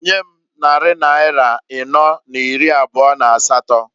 Nyem nnarị naịra ịnọọ na iri abụọ n'asatọǃ